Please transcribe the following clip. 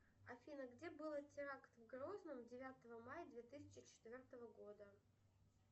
афина где было теракт в грозном девятого мая две тысячи четвертого года